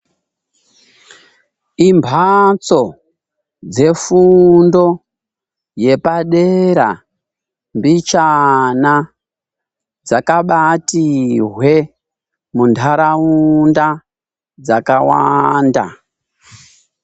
Imhatso dzefundo yepadera mbichana dzakabati hwe muntaraunda dzakawanda.